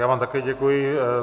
Já vám také děkuji.